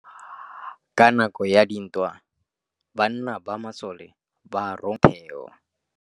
Ka nakô ya dintwa banna ba masole ba rongwa go tswa kwa mothêô.